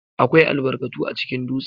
AKWAI albarkatu acikin dutse.